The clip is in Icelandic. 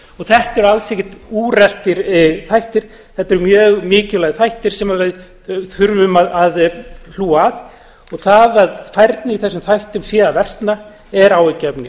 þetta eru alls ekkert úreltir þættir þetta eru mjög mikilvægir þættir sem við þurfum að hlúa að og það að færni í þessum þáttum sé að versna er áhyggjuefni